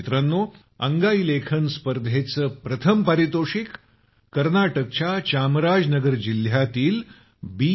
मित्रांनो अंगाई लेखन स्पर्धेचे प्रथम पारितोषिक कर्नाटकच्या चामराजनगर जिल्ह्यातील बी